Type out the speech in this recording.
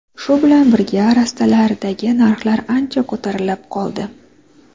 Shu bilan birga, rastalardagi narxlar ancha ko‘tarilib qoldi.